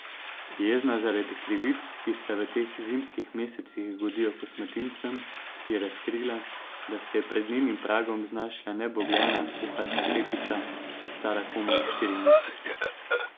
Jezna zaradi krivic, ki se v teh zimskih mesecih godijo kosmatincem, je razkrila, da se je pred njenim pragom znašla nebogljena puhasta kepica, stara komaj štiri mesece.